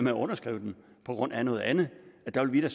at underskrive den på grund af noget andet der ville